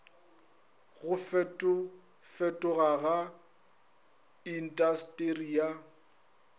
go fetofetoga ga intasteri ya